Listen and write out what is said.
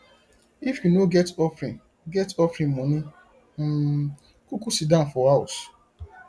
if you no get offering get offering moni um kuku sidon for house